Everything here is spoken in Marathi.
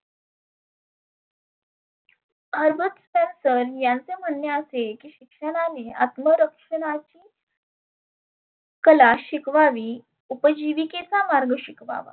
Harbus Spensar यांचे म्हणने. असे की शिक्षणाने आत्म रक्षणाचे कला शिकवावी उपजिवीकेचा मार्ग शिकवावा.